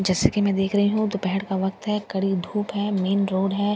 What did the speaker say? जैसे की मैं देख रही हूँ दोपहर का वक्त हैं कड़ी धुप हैं मेन रोड हैं।